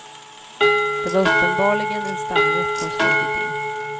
Det var uppenbarligen en stamgäst som slunkit in.